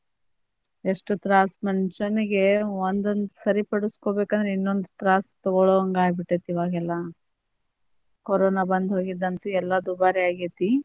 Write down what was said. ಎಷ್ಟ್ ತ್ರಾಸ್ ಮನಿಶ್ಯಾನಿಗೆ ಒಂದೊಂದ್ಸರಿ ಪಡಸ್ಕೊಬೇಕಂದ್ರ ಇನ್ನೊಂದ ತ್ರಾಸ್ ತೊಗೊಳು ಹಂಗ ಆಗ್ಬಿಟ್ಟೆತಿ ಇವಾಗೆಲ್ಲಾ corona ಬಂದ್ ಹೋಗಿದ್ ಅಂತು ಎಲ್ಲಾ ದುಬಾರಿ ಆಗೇತಿ.